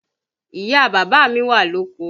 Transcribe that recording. Ìyá bàbá mi wà lóko